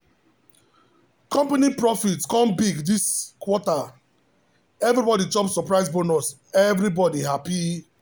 company profit come big this quarter everybody chop surprise bonus everybody happy!